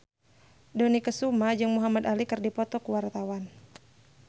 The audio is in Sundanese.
Dony Kesuma jeung Muhamad Ali keur dipoto ku wartawan